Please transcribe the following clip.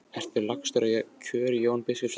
Ertu lagstur í kör Jón biskup Arason?